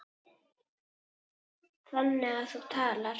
Þannig að þú talar.